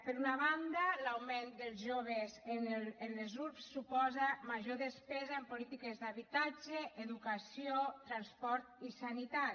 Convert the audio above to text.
per una banda l’augment dels joves en les urbs suposa major despesa en polítiques d’habitatge educació transport i sanitat